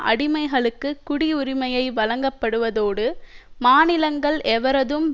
அடிமைகளுக்கு குடியுரிமையை வழங்கப்படுவதோடு மாநிலங்கள் எவரதும்